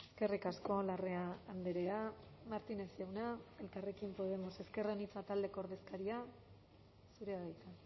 eskerrik asko larrea andrea martínez jauna elkarrekin podemos ezker anitza taldeko ordezkaria zurea da hitza